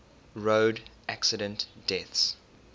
road accident deaths